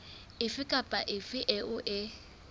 efe kapa efe eo e